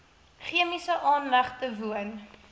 chemiese aanlegte woon